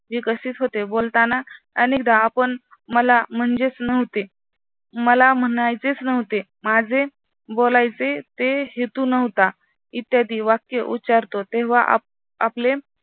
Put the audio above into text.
विकसित होते. बोलताना अनेकदा आपण मला म्हणजेच नव्हते, मला म्हणायचेच नव्हते, माझे बोलायचे ते हेतू नव्हता इत्यादी वाक्य उच्चारतो तेव्हा आपले